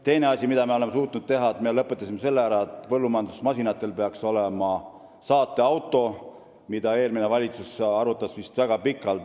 Teine asi, mida me oleme suutnud teha: me lõpetasime ära selle, et põllumajandusmasinatel peaks olema saateauto, mida eelmine valitsus vist väga pikalt arutas.